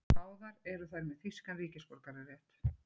Báðar eru þær með þýskan ríkisborgararétt